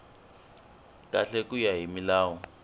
kahle ku ya hi milawu